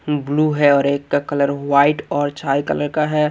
उम blue है और एक का कलर वाइट और चार कलर का है।